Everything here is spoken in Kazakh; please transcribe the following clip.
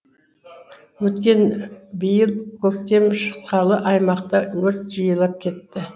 өйткені биыл көктем шыққалы аймақта өрт жиілеп кетті